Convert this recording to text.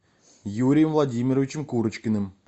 юрием владимировичем курочкиным